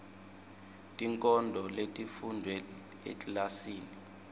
tinkondlo letifundvwe ekilasini